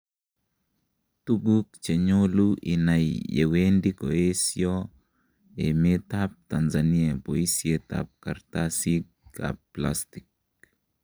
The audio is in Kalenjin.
Tuguk cheyolu inai yewendi koesio emet ab Tanzania boisiet ab karastatisig ab plastig.